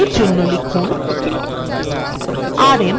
এই জন্য লিখুন rm